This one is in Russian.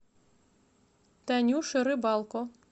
танюше рыбалко